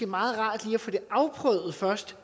meget rart lige at få det afprøvet først